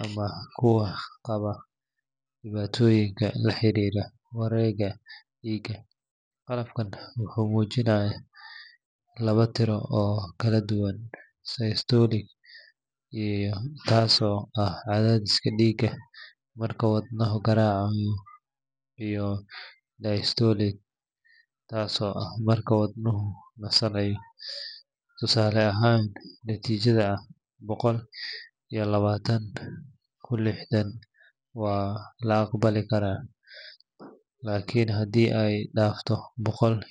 ama kuwa qaba dhibaatooyin la xiriira wareegga dhiigga. Qalabkan wuxuu muujinayaa laba tiro oo kala ah systolic taasoo ah cadaadiska dhiigga marka wadnuhu garaacayo, iyo diastolic taasoo ah marka wadnuhu nasanayo. Tusaale ahaan, natiijada ah boqol iyo labaatan ku lixdan waa la aqbali karaa, laakiin haddii ay dhaafto boqol...